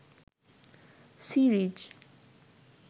series